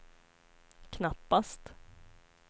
knappast